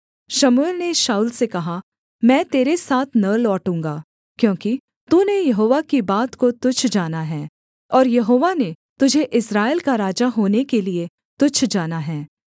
शमूएल ने शाऊल से कहा मैं तेरे साथ न लौटूँगा क्योंकि तूने यहोवा की बात को तुच्छ जाना है और यहोवा ने तुझे इस्राएल का राजा होने के लिये तुच्छ जाना है